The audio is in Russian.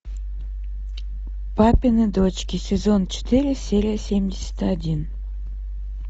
папины дочки сезон четыре серия семьдесят один